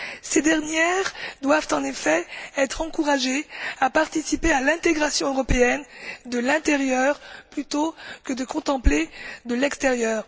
Ces dernières doivent en effet être encouragées à participer à l'intégration européenne de l'intérieur plutôt que de la contempler de l'extérieur.